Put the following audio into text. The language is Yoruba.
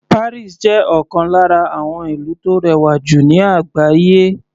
Paris jẹ́ ọ̀kan lára àwọn ìlú tó rẹwà jù ní àgbáyé.